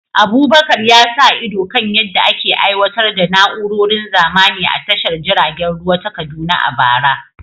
Abubakar ya sa ido kan yadda ake aiwatar da na’urorin zamani a tashar jiragen ruwa ta Kaduna a bara.